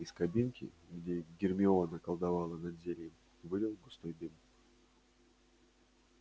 из кабинки где гермиона колдовала над зельем валил густой дым